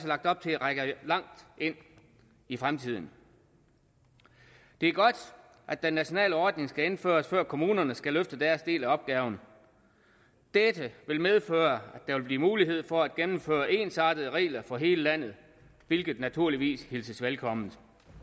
lagt op til rækker langt ind i fremtiden det er godt at den nationale ordning skal indføres før kommunerne skal løfte deres del af opgaven dette vil medføre at der vil blive mulighed for at gennemføre ensartede regler for hele landet hvilket naturligvis hilses velkommen